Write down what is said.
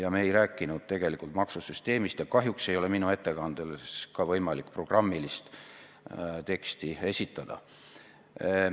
Aga me ei rääkinud tegelikult maksusüsteemist ja kahjuks ei ole ka minu ettekandes võimalik programmilist teksti esitada.